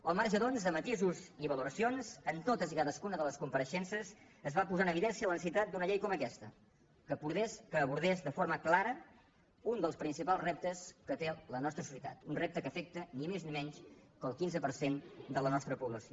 al marge doncs de matisos i valoracions en totes i cadascuna de les compareixences es va posar en evidència la necessitat d’una llei com aquesta que abordés de forma clara un dels principals reptes que té la nostra societat un repte que afecta ni més ni menys que el quinze per cent de la nostra població